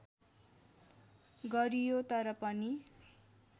गरियो तर पनि